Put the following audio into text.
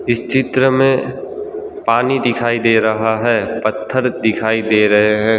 इस चित्र में पानी दिखाई दे रहा है पत्थर दिखाई दे रहे हैं।